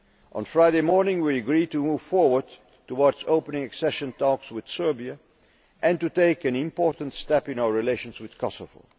On Friday morning, we agreed to move forward towards opening accession talks with Serbia, and to take an important step in our relations with Kosovo.